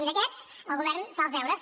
i d’aquests el govern fa els deures